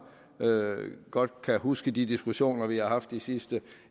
godt kan huske de diskussioner vi har haft de sidste